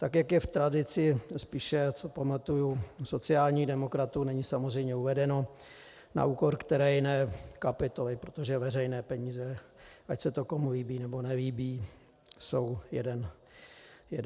Tak jak je v tradici spíše, co pamatuju, sociálních demokratů, není samozřejmě uvedeno, na úkor které jiné kapitoly, protože veřejné peníze, ať se to komu líbí, nebo nelíbí, jsou jeden ranec.